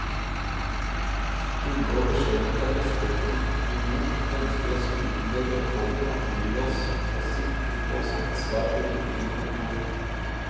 Stille og beskjedent tar biskopen imot, ønsker oss smilende velkommen og byr oss å sitte på sitt svært ryddige kontor.